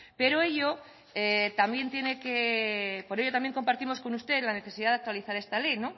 pero ello también tiene que por ello también compartimos con usted la necesidad de actualizar esta ley